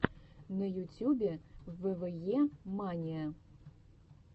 на ютюбе вве мания